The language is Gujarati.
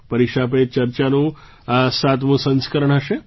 પરીક્ષા પે ચર્ચાનું આ સાતમું સંસ્કરણ હશે